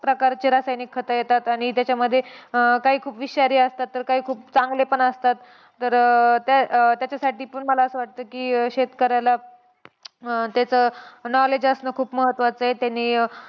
प्रकारचे रासायनिक खतं येतात. आणि त्याच्यामध्ये अं काही खूप विषारी असतात, तर काही खूप चांगले पण असतात. तर अं त्या त्याच्यासाठी पण मला असं वाटतं की शेतकऱ्याला अं त्याचं knowledge असणं खूप महत्त्वाचं आहे. त्यांनी